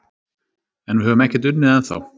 En við höfum ekkert unnið ennþá